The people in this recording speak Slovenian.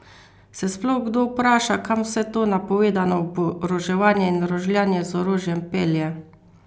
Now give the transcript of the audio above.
Se sploh kdo vpraša kam vse to napovedano oboroževanje in rožljanje z orožjem pelje?